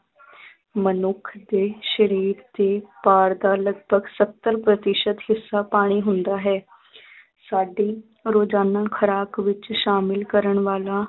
ਮਨੁੱਖ ਦੇ ਸਰੀਰ ਦੇ ਭਾਰ ਦਾ ਲਗਭਗ ਸੱਤਰ ਪ੍ਰਤੀਸ਼ਤ ਹਿੱਸਾ ਪਾਣੀ ਹੁੰਦਾ ਹੈ ਸਾਡੀ ਰੋਜ਼ਾਨਾ ਖੁਰਾਕ ਵਿੱਚ ਸ਼ਾਮਿਲ ਕਰਨ ਵਾਲਾ